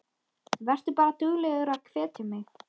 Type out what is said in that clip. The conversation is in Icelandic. Vertu bara duglegur að hvetja mig.